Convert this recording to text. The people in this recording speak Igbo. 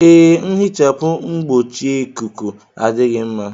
Ee, nhichapụ mgbochieikuku adịghị mma.